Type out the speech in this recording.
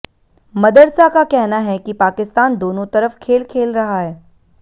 मदरसा का कहना है कि पाकिस्तान दोनों तरफ खेल खेल रहा है